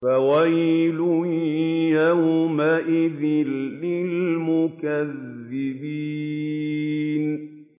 فَوَيْلٌ يَوْمَئِذٍ لِّلْمُكَذِّبِينَ